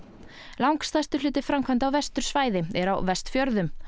langstærstur hluti framkvæmda á vestursvæði er á Vestfjörðum